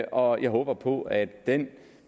og jeg håber på at den